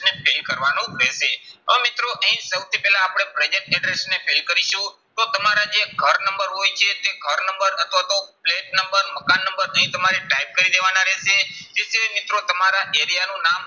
ને fill કરવાનું રહેશે. હવે મિત્રો અહીં સૌથી પહેલા આપણે present address ને fill કરીશું. તો તમારા જે ઘર નંબર હોય છે તે ઘર નંબર અથવા તો ફ્લેટ નંબર મકાન નંબર અહીં તમારે type કરી દેવાના રહેશે. તે સિવાય મિત્રો તમારા area નું નામ